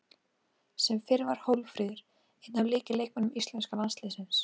Sem fyrr var Hólmfríður einn af lykilleikmönnum íslenska landsliðsins.